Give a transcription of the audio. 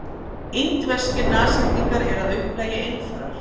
Indverskir nashyrningar eru að upplagi einfarar.